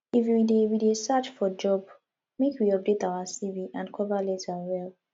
if we dey we dey search for job make we update our cv and cover letter well